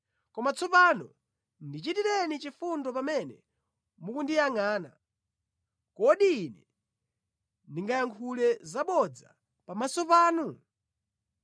“Koma tsopano ndichitireni chifundo pamene mukundiyangʼana. Kodi ine ndingayankhule zabodza pamaso panu?